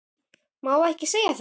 Má ekki segja það?